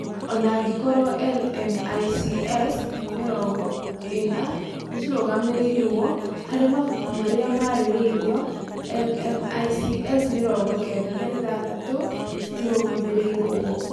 Ona angĩkorwo LMICs mĩrongo ĩna nĩ ciarũgamĩrĩrwo harĩ mabuku marĩa marĩrĩirio, LMICs mĩrongo kenda na ithathatu citiarũgamĩrĩrwo.